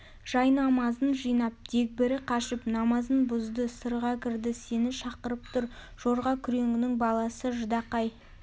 жайнамазын жинап дегбірі қашып намазын бұзды сырға кірді сені шақырып тұр жорға күреңнің баласы ждақай